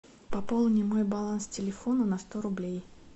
пополни мой баланс телефона на сто рублей